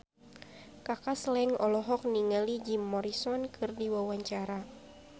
Kaka Slank olohok ningali Jim Morrison keur diwawancara